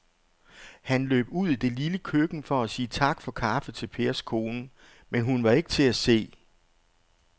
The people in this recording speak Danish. Han løb ud i det lille køkken for at sige tak for kaffe til Pers kone, men hun var ikke til at se.